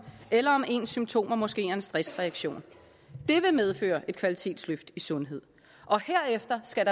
eller om ens symptomer måske er en stressreaktion det vil medføre et kvalitetsløft i sundhed og herefter skal